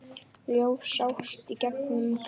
Ljós sást í einum glugga.